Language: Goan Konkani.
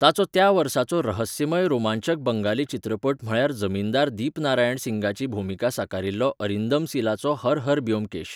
ताचो त्या वर्साचो रहस्यमय रोमांचक बंगाली चित्रपट म्हळ्यार जमीनदार दिपनारायण सिंगाची भुमिका साकारिल्लो अरिंदम सिलाचो हर हर ब्योमकेश.